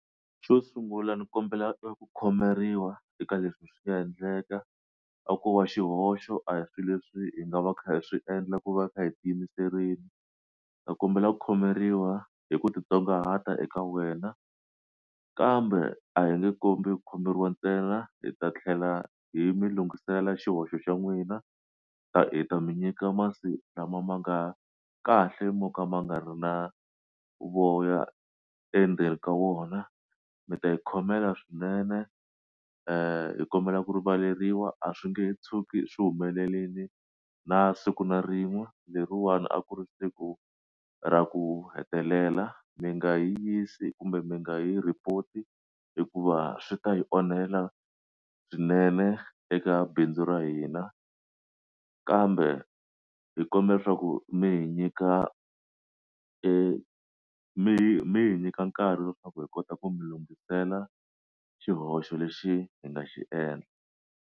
Xo sungula ni kombela ku khomeriwa eka leswi hi swi nga endleka a ko va xihoxo a hi swilo leswi hi nga va kha hi swi endla ku va hi kha hi ti yimiserile ta kombela ku khomeriwa hi ku titsongahata eka wena kambe a hi nge kombi ku khomeriwa ntsena hi ta tlhela hi mi lungisela xihoxo xa n'wina ta hi ta mi nyika masi lama ma nga kahle mo ka ma nga ri na voya endzeni ka wona mi ta yi khomela swinene i kombela ku rivaleriwa a swi nge tshuki swi humelerile na siku na rin'we leriwani a ku ri siku ra ku hetelela mi nga yi yisi kumbe mi nga yi report-i hikuva swi ta hi onhela swinene eka bindzu ra hina kambe hi kombela leswaku mi hi nyika mi mi hi nyika nkarhi leswaku hi kota ku mi lunghisela xihoxo lexi hi nga xi endla.